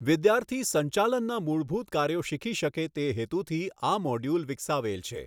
વિદ્યાર્થી સંચાલનના મૂળભૂત કાર્યો શિખી શકે તે હેતુથી આ મોડ્યુલ વિકસાવેલ છે.